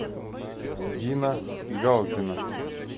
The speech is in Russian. дина галдина